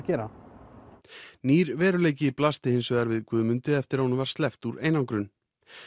gera nýr veruleiki blasti hins vegar við Guðmundi eftir að honum var sleppt úr einangrun